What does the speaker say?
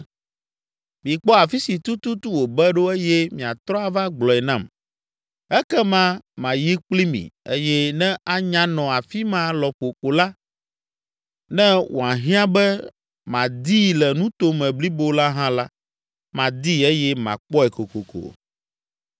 Mikpɔ afi si tututu wòbe ɖo eye miatrɔ ava gblɔe nam. Ekema mayi kpli mi eye ne anya nɔ afi ma lɔƒo ko la, ne wòahiã be madii le nuto me blibo la hã la, madii eye makpɔe kokoko!”